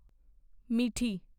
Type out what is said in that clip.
ਮਿੱਠੀ